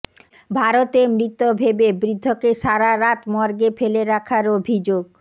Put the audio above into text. ভারতে মৃত ভেবে বৃদ্ধকে সারারাত মর্গে ফেলে রাখার অভিযোগ